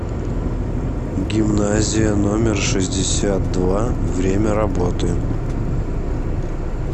гимназия номер шестьдесят два время работы